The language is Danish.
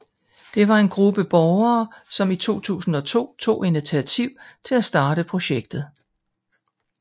Det var en gruppe borgere som i 2002 tog initiativ til at starte projektet